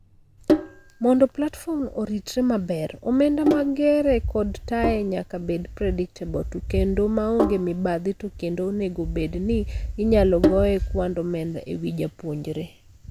Mondo platform oritre maber ,omenda mag gere kod taye nyaka bed predictable to kendo maonge mibadhi to kendo onego obedni inyalo goye kwand omenda ewii japuonjre.